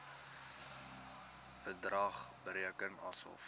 bedrag bereken asof